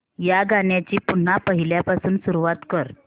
या गाण्या ची पुन्हा पहिल्यापासून सुरुवात कर